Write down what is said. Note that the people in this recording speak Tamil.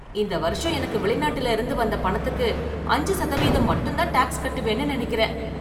இந்த வருஷம் எனக்கு வெளிநாட்டுல இருந்து வந்த பணத்துக்கு அஞ்சு சதவீதம் மட்டும்தான் டாக்ஸ் கட்டுவேன்னு நினைக்கிறேன்.